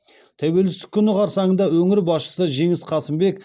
тәуелсіздік күні қарсаңында өңір басшысы жеңіс қасымбек